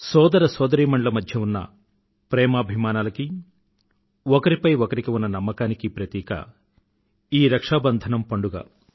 సోదర సోదరీమణుల మధ్యన ఉన్న ప్రేమాభిమానాలకీ ఒకరిపై ఒకరికి ఉన్న నమ్మకానికీ ప్రతీక ఈ రక్షాబంధనం పండుగ